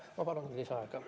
Ma palun lisaaega!